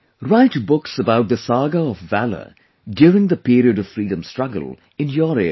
Write books about the saga of valour during the period of freedom struggle in your area